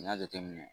N'i y'a jateminɛ